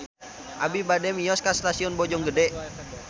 Abi bade mios ka Stasiun Bojonggede